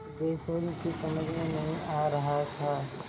सिद्धेश्वरी की समझ में नहीं आ रहा था